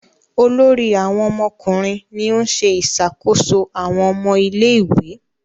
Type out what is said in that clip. Olórí àwọn ọmọkùnrin ní o ṣe ìṣàkóso àwọn ọmọ ilé ìwé.